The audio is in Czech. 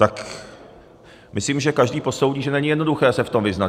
Tak myslím, že každý posoudí, že není jednoduché se v tom vyznat.